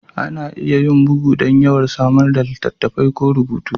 Ana iya yin bugu don yawan samar da littattafai ko rubutu